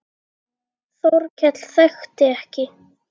Þórkell þekkti ekki.